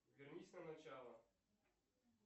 вернись на начало